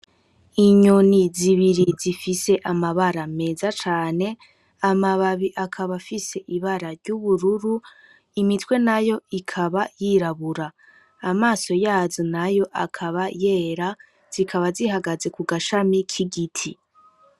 Inyoni z'ibiri z'ifise amabara meza cane, amababi akaba afise ibira ry'ubururu imitwe nayo ikaba yirabura, amaso yazo nayo akaba yera, zikaba zihagaze kugashami k'igiti.